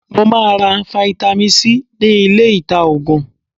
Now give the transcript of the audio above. Mo máa ra fáítámì C ní ilé ìta Ògùn.